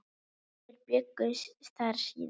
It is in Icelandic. Þeir bjuggu þar síðan.